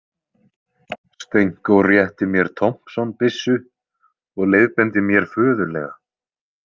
Stenko rétti mér Thompson- byssu og leiðbeindi mér föðurlega.